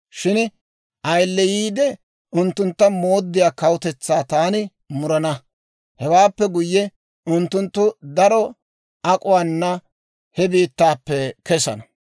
Shin ayileyiide unttuntta mooddiyaa kawutetsaa taani murana; hewaappe guyye, unttunttu daro ak'uwaana he biittaappe kessana.